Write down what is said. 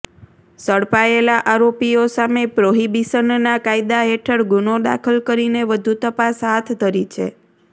ઝડપાયેલા આરોપીઓ સામે પ્રોહિબીશનના કાયદા હેઠળ ગુનો દાખલ કરીને વધુ તપાસ હાથ ધરી છે